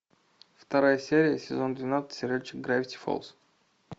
вторая серия сезон двенадцать сериальчик гравити фолз